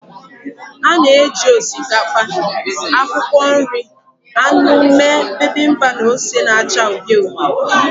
A na-eji osikapa, akwụkwọ nri, anụ mee Bibimpap na ose na-acha uhie uhie